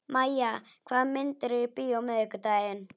Mæja, hvaða myndir eru í bíó á miðvikudaginn?